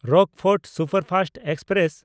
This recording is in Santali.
Rockfort superfast express